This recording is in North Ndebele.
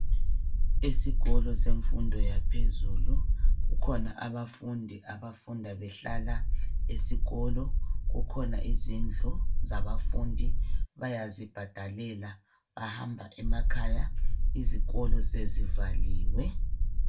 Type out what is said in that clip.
Esikolo semfundo yaphezulu kukhona abafundi abafunda behlala esikolo, kukhona izindlu zabafundi bayazibhadalela bahamba emakhaya izikolo sezivaliwe.